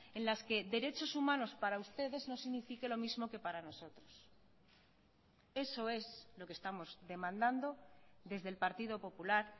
en las que derechos humanos para ustedes no signifique lo mismo que para nosotros eso es lo que estamos demandando desde el partido popular